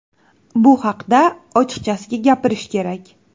Bu haqda ochiqchasiga gapirish kerak.